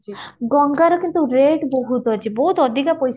ଗଙ୍ଗା ରେ କିନ୍ତୁ rate ବହୁତ ଅଛି ବହୁତ ଅଧିକା ପଇସା